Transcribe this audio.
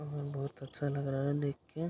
बाहर बहुत अच्छा लग रहा है देख के --